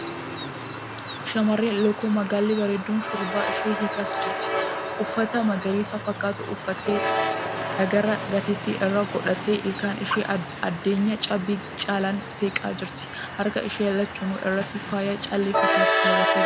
Shamarreen lookoo magaalli bareedduun shurrubbaa ishee hiikas jirti. Uffata magariisa fakkaatu uffattee; dhagaraa gatettii irra godhatti ilkaan ishee addeenya cabbii caalaniin seeqaa jirti. Harka ishee lachanuu irratti faaya callee fakkaatu keewwattee jirti.